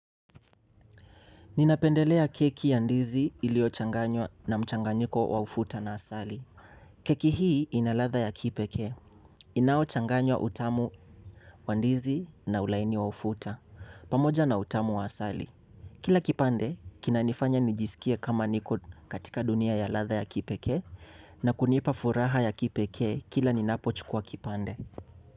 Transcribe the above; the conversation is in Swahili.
Ninapendelea keki ya ndizi iliyochanganywa na mchanganyiko wa ufuta na asali. Keki hii ina ladha ya kipekee. Inaochanganywa utamu wa ndizi na ulaini wa ufuta. Pamoja na utamu wa asali. Kila kipande, kinanifanya nijisikie kama niko katika dunia ya ladha ya kipekee na kunipa furaha ya kipekee kila ninapochukua kipande.